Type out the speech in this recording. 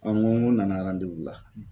n ko, ko n nana la.